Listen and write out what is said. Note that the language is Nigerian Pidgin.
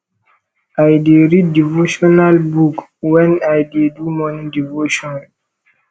i dey read devotional book wen i dey do morning devotion